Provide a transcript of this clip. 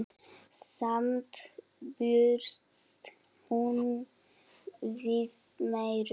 Samt bjóst hún við meiru.